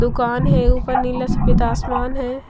दुकान है ऊपर नीला सफेद आसमान है।